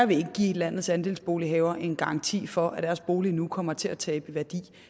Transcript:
vil give landets andelsbolighavere en garanti for at deres bolig ikke nu kommer til at tabe værdi